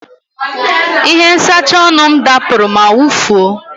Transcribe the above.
Ihe nsacha ọnụ m dapụrụ ma wụfuo.